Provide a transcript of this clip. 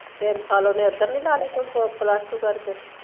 ਤਿੰਨ ਸਾਲ ਉਹਨੇਂ ਇਧਰ ਨੀ ਲਾ ਲਏ Plus two ਕਰਕੇ